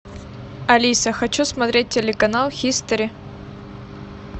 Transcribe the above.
алиса хочу смотреть телеканал хистори